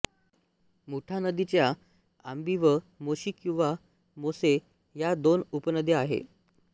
मुठा नदीच्या आंबी व मोशी किंवा मोसे ह्या दोन उपनद्या आहेत